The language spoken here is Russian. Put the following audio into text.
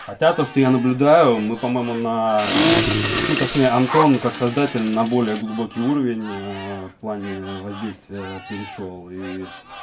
хотя то что я наблюдаю мы по-моему на ну точнее антон как создатель на более глубокий уровень ээ в плане воздействие перешёл и